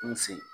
N fe yen